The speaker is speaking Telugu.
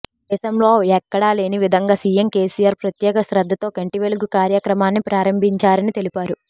దేశంలో ఎక్కడా లేని విధంగా సీఎం కేసీఆర్ ప్రత్యేక శ్రద్ధతో కంటివెలుగు కార్యక్రమాన్ని ప్రారంభించారని తెలిపారు